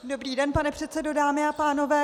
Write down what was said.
Dobrý den pane předsedo, dámy a pánové.